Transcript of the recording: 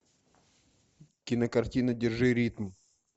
кинокартина держи ритм